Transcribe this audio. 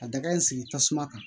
Ka daga in sigi tasuma kan